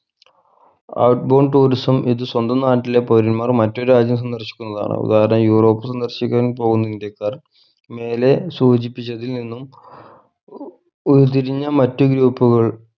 out bound tourism ഇത് സ്വന്തം നാട്ടിലെ പൗരന്മാർ മറ്റു രാജ്യം സന്ദർശിക്കുന്നതാണ് ഉദാഹരണം യൂറോപ് സന്ദർശിക്കാൻ പോകുന്ന ഇന്ത്യക്കാർ മേലെ സൂചിപ്പിച്ചതിൽ നിന്നും ഉരുത്തിരിഞ്ഞ മറ്റു group കൾ